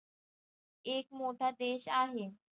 एक मोठा देश आहे